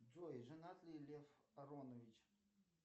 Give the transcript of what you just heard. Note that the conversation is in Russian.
джой женат ли лев аронович